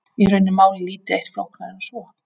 Í raun er málið lítið eitt flóknara en svo.